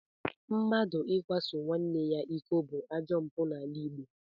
Mmadụ ịkwaso nwanne ya iko bụ ajọ mpụ n'ala Igbo